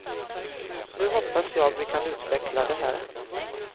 Nu hoppas jag vi kan utveckla det här.